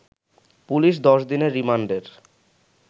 police ১০ দিনের রিমান্ডের